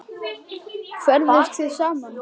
Ferðist þið saman?